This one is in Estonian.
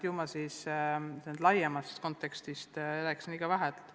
Ju ma siis laiemast kontekstist rääkisin liiga vähe.